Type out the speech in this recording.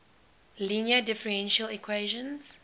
linear differential equations